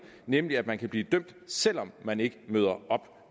nemlig at man kan blive dømt selv om man ikke møder op